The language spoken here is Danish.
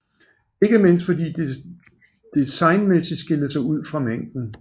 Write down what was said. Ikke mindst fordi de designmæssigt skilte sig ud fra mængden